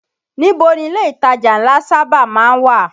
Níbo ni ilé ìtajà ńlá sábà má ń wà?